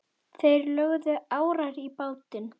Þeir lögðu árar í bát.